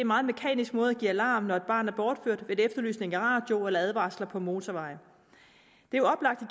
meget mekanisk måde at give alarm på når et barn er bortført ved en efterlysning i radioen eller advarsler på motorveje det er oplagt at